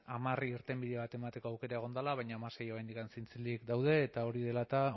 hamar irtenbide bat emateko aukera egon dela baina hamasei oraindik zintzilik daude eta hori dela eta